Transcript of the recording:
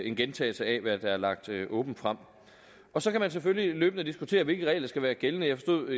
en gentagelse af hvad der er lagt åbent frem så kan man selvfølgelig løbende diskutere hvilke regler der skal være gældende jeg forstod